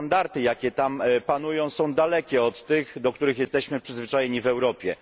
Standardy, jakie tam panują, są dalekie od tych, do jakich jesteśmy przyzwyczajeni w Europie.